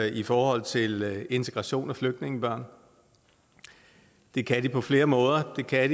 i forhold til integration af flygtningebørn det kan de på flere måder det kan